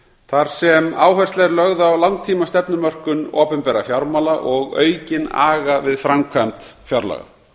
þar sem áhersla er lögð á langtímastefnumörkun opinberra fjármála og aukinn aga við framkvæmd fjárlaga